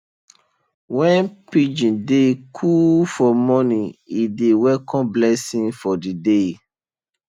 when pigeon dey coo for morning e dey welcome blessing for the day